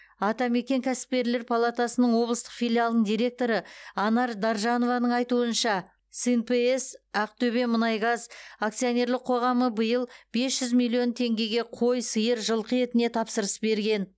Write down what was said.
атамекен кәсіпкерлер палатасының облыстық филиалының директоры анар даржанованың айтуынша снпс ақтөбемұнайгаз акционерлік қоғамы биыл бес жүз миллион теңгеге қой сиыр жылқы етіне тапсырыс берген